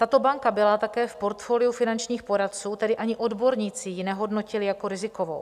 Tato banka byla také v portfoliu finančních poradců, tedy ani odborníci ji nehodnotili jako rizikovou.